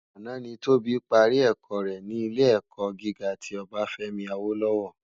Àná ni Tobi pàrí èkò re ni Ilé èkò gigá ti Obafemi Awolowo